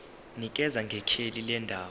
nikeza ngekheli lendawo